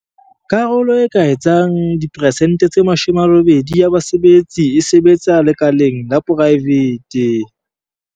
Karolo e ka etsang diperesente tse 80 ya basebetsi e sebetsa lekaleng la poraefete.